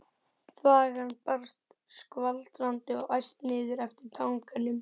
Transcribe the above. Þvagan barst skvaldrandi og æst niður eftir tanganum.